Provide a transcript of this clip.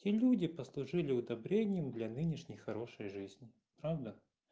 те люди послужили удобрением для нынешней хорошей жизни правда